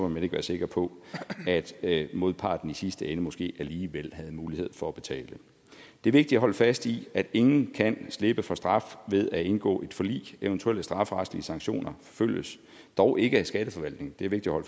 man ikke være sikker på at modparten i sidste ende måske alligevel havde mulighed for at betale det er vigtigt at holde fast i at ingen kan slippe for straf ved at indgå et forlig eventuelle strafferetlige sanktioner forfølges dog ikke af skatteforvaltningen det er vigtigt at